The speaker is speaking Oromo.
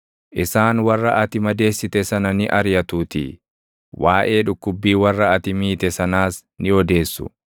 Isaan warra ati madeessite sana ni ariʼatuutii; waaʼee dhukkubbii warra ati miite sanaas ni odeessu.